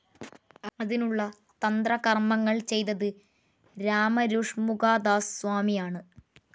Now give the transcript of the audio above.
അതിനുള്ള തന്ത്രകർമ്മങ്ങൾ ചെയ്തത് രാമരു ഷണ്മുഖദാസ് സ്വാമിയാണ്.